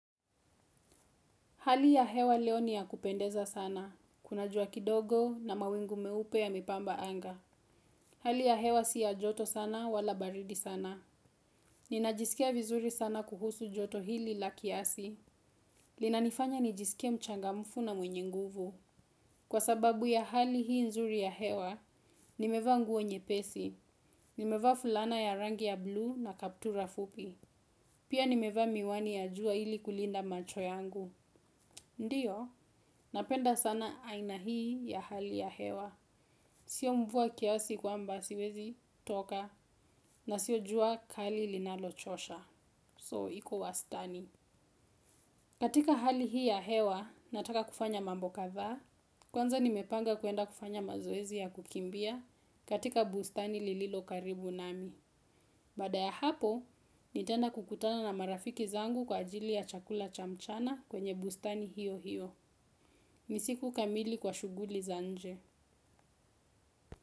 Hali ya hewa leo ni ya kupendeza sana, kuna jua kidogo na mawingu meupe yame pamba anga. Hali ya hewa si ya joto sana wala baridi sana. Ninajisikia vizuri sana kuhusu joto hili la kiasi. Linanifanya nijisikie mchanga mfu na mwenye nguvu. Kwa sababu ya hali hii nzuri ya hewa, nimevaa nguo nyepesi. Nimevaa fulana ya rangi ya buluu na kaptura fupi. Pia nimevaa miwani ya jua ili kulinda macho yangu. Ndio, napenda sana aina hii ya hali ya hewa. Sio mvua kiasi kwamba siwezi toka na sio jua kali linalochosha So, iko wastani. Katika hali hii ya hewa, nataka kufanya mambo kadhaa. Kwanza nimepanga kwenda kufanya mazoezi ya kukimbia katika bustani lililo karibu nami. Baada ya hapo, nitaenda kukutana na marafiki zangu kwa ajili ya chakula cha mchana kwenye bustani hio hio. Ni siku kamili kwa shughuli za nje.